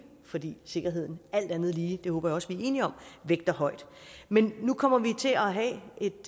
fordi sikkerheden alt andet lige det håber jeg også vi er enige om vægter højt men nu kommer vi til at have et